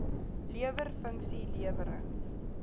lewer funksie lewering